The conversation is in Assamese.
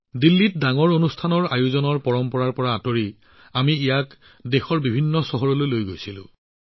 দিল্লীৰ ডাঙৰ ডাঙৰ অনুষ্ঠানৰ পৰম্পৰাৰ পৰা বিচ্ছিন্ন হৈ আমি দেশৰ বিভিন্ন চহৰলৈ লৈ গলোঁ